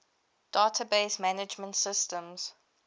database management systems